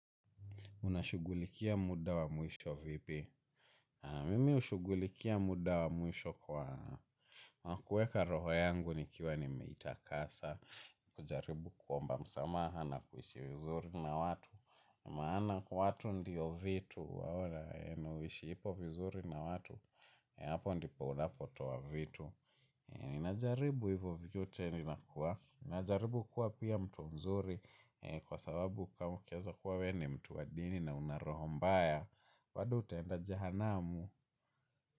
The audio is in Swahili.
Unashughulikia muda wa mwisho vipi? Mimi hushughulikia muda wa mwisho kwa kueka roho yangu nikiwa nimeitakasa. Kujaribu kuomba msamaha na kuhishi vizuri na watu. Maana watu ndiyo vitu. Wewe na uishiko vizuri na watu. Hapo ndipo unapotoa vitu. Ninajaribu hivyo vyote ninakuwa. Ninajaribu kuwa pia mtu mzuri. Kwa sababu kama ukieza kuwa we ni mtu wa dini na una roho mbaya bado utaenda jehanamu.